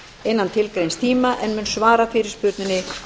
innan tilgreinds tíma en mun svara fyrirspurninni